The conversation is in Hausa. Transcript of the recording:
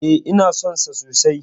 E, ina son sa sosai.